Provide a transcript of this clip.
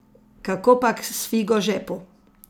Kakopak s figo žepu.